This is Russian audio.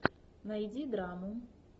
найди драму